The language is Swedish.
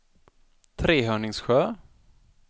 Trehörningsjö